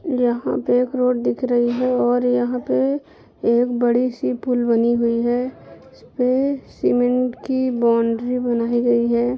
यहां पे एक रोड दिख रही है और यहां पे एक बड़ी सी पुल बनी हुई है इसपे सीमेंट की बाउंड्री बनाई गई है।